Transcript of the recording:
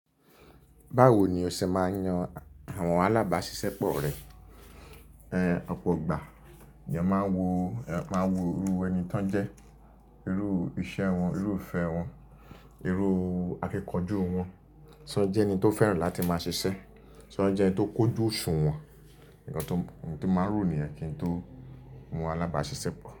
Báwo ni o ṣe máa ń yan àwọn alábáṣiṣẹ́ pọ̀ rẹ? Ọ̀pọ̀ ìgbà ni máa ń wo, máa ń wo irú ẹni tán jẹ́, irú iṣẹ́ wọn, irú ìfẹ́ wọn, irú akíkanjú wọn. Ṣé ó jẹ́ ẹni tó fẹ́ràn láti máa ṣiṣẹ́, ṣé ó jẹ́ ẹni tó kójú òṣùwọ̀n? Ǹkan tó, ohun tó máa ń ro nìyẹn kí n tó mú alábáṣiṣẹ́ pọ̀.